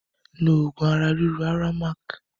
Lo oògùn ara ríro Aramac!